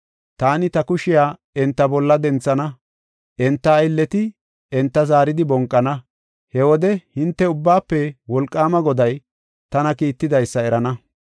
Taani ta kushiya enta bolla denthana; enta aylleti enta zaaridi bonqana. He wode hinte Ubbaafe Wolqaama Goday tana kiittidaysa erana.”